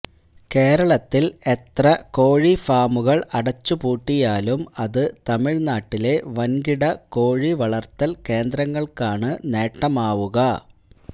കേരളത്തില് എത്ര കോഴിഫാമുകള് അടച്ചുപൂട്ടിയാലും അത് തമിഴ്നാട്ടിലെ വന്കിട കോഴിവളര്ത്തല് കേന്ദ്രങ്ങള്ക്കാണ് നേട്ടമാവുക